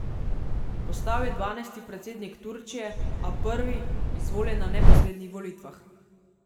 Postal je dvanajsti predsednik Turčije, a prvi, izvoljen na neposrednih volitvah.